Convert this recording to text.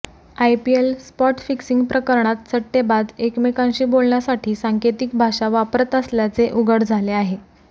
IPL spot fixing प्रकरणात सट्टेबाज एकमेकांशी बोलण्यासाठी सांकेतिक भाषा वापरत असल्याचे उघड झाले आहे